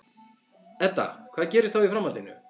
Edda: Hvað gerist þá í framhaldinu?